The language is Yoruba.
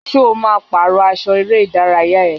Ṣo ma pàrọ́ aṣọ eré ìdárayá ẹ?